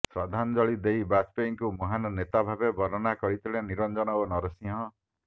ଶ୍ରଦ୍ଧାଞ୍ଜଳି ଦେଇ ବାଜପେୟୀଙ୍କୁ ମହାନ ନେତା ଭାବେ ବର୍ଣ୍ଣନା କରିଥିଲେ ନିରଞ୍ଜନ ଓ ନରସିଂହ